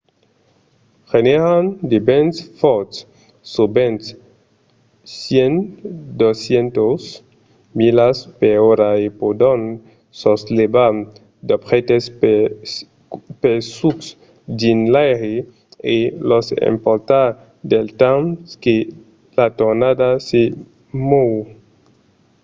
genèran de vents fòrts sovent 100-200 milas/ora e pòdon soslevar d’objèctes pesucs dins l’aire e los emportar del temps que la tornada se mòu